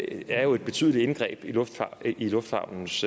er et betydeligt indgreb i lufthavnens